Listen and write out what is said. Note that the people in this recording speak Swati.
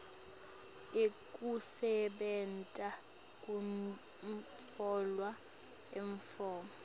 ekusebenta kutfolwe emafomu